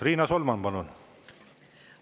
Riina Solman, palun!